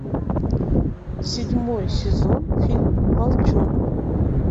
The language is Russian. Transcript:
седьмой сезон фильм волчонок